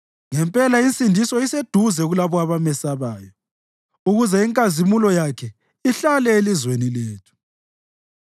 Ngempela insindiso iseduze kulabo abamesabayo, ukuze inkazimulo yakhe ihlale elizweni lethu.